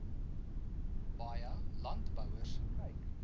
baie landbouers kyk